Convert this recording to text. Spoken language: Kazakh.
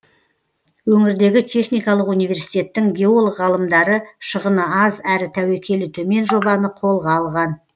өңірдегі техникалық университеттің геолог ғалымдары шығыны аз әрі тәуекелі төмен жобаны қолға алған